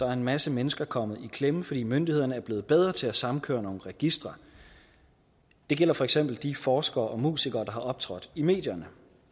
er en masse mennesker kommet i klemme fordi myndighederne er blevet bedre til at sammenkøre nogle registre det gælder for eksempel de forskere og musikere der har optrådt i medierne